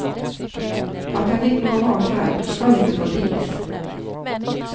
At han gikk noe hardt frem, skal ikke forties.